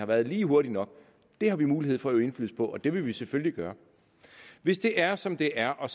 været lige hurtig nok det har vi mulighed for at øve indflydelse på og det vil vi selvfølgelig gøre hvis det er som det er og